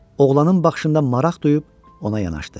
Oğlanın baxışında maraq duyub ona yanaşdı.